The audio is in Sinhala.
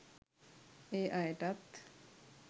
ඒ අයටත්